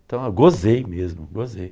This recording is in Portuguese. Então eu gozei mesmo, gozei.